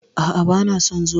A'a, bana son zuwa.